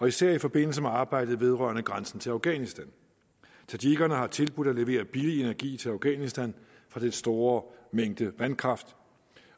især i forbindelse med arbejdet vedrørende grænsen til afghanistan tadsjikkerne har tilbudt at levere billig energi til afghanistan for den store mængde vandkraft